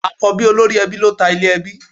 Àkọ́bí olórí ẹbí ló ta ilẹ̀ ẹbí